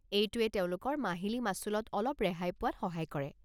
এইটোৱে তেওঁলোকৰ মাহিলী মাচুলত অলপ ৰেহাই পোৱাত সহায় কৰে।